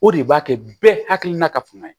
O de b'a kɛ bɛɛ hakilina ka fanga ye